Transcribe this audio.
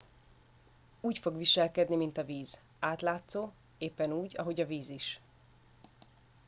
úgy fog viselkedni mint a víz átlátszó éppen úgy ahogy a víz is